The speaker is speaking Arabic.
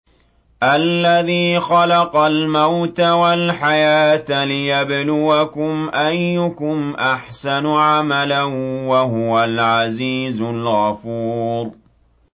الَّذِي خَلَقَ الْمَوْتَ وَالْحَيَاةَ لِيَبْلُوَكُمْ أَيُّكُمْ أَحْسَنُ عَمَلًا ۚ وَهُوَ الْعَزِيزُ الْغَفُورُ